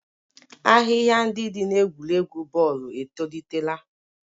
Ahịhịa ndị dị n'egwuregwu bọọlụ etolitela.